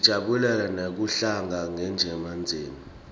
sijabulela nekuhlangana njengemndzeni